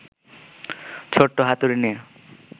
ছোট্ট হাতুড়ি নিয়ে